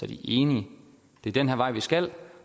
de enige det er den her vej vi skal